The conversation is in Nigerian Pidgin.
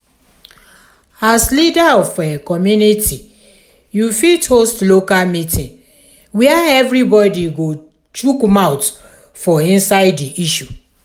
as leader of community you fit host local meeting where everybody go chook mouth for inside di issue